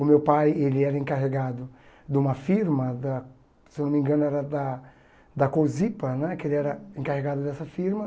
O meu pai ela era encarregado de uma firma, da se não me engano era da da Cozipa né, que ele era encarregado dessa firma.